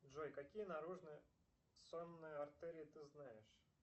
джой какие наружные сонные артерии ты знаешь